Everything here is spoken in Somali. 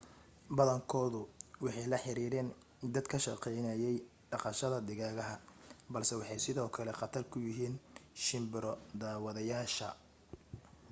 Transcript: badankoodu waxay la xiriireen dad ka shaqaynayay dhaqashada digaaga balse waxay sidoo kale khatar ku yihiin shimbiro daawadayaasha